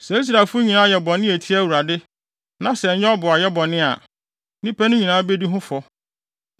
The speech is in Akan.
“ ‘Sɛ Israelfo nyinaa yɛ bɔne a etia Awurade, na sɛ ɛnyɛ ɔboayɛ a, nnipa no nyinaa bedi ho fɔ.